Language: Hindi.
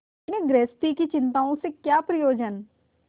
इन्हें गृहस्थी की चिंताओं से क्या प्रयोजन